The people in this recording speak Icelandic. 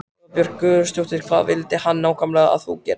Eva Bergþóra Guðbergsdóttir: Hvað vildi hann nákvæmlega að þú gerðir?